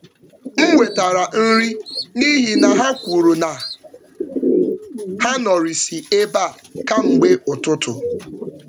M wetara nri n’ihi na ha kwuru na ha nọrịsị ébéá kamgbe ụtụtụ